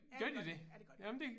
Ja det gør de ja det gør de